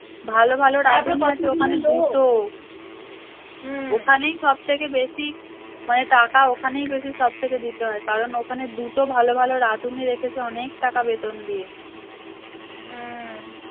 ভালো ভালো রাঁধুনি আছে ওখানে দুটো ওখানেই সব থেকে বেশি মানে টাকা ওখানেই বেশি সবথেকে দিতে হয় কারণ ওখানে দুটো ভালো ভালো রাঁধুনি রেখেছে অনেক টাকা বেতন দিয়ে